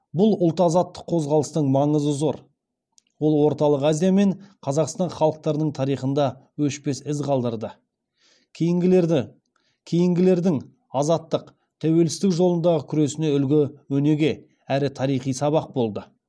бұл ұлт азаттық қозғалыстың маңызы зор ол орталық азия мен қазақстан халықтарының тарихында өшпес із қалдырды кейінгілердің азаттық тәуелсіздік жолындағы күресіне үлгі өнеге әрі тарихи сабақ болды